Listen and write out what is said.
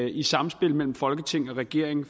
i et samspil mellem folketing og regering